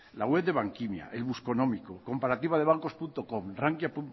la web de bankimia el busconómico comparativadebancoscom rankiacom